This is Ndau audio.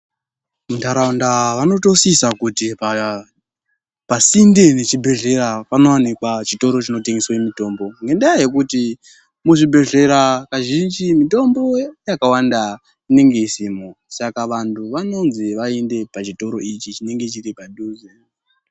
Munharaunda vanotosisa kuti pasinde pechibhhleya panotowanikwa chitoro chinotengeswe mutombo ngendaa yekuti muzvibhehleya kazhinji mitombo yakawanda inenge isimwo saka vanhu vanonzi vaende pachitoro ichi chinenge chiripadhuze.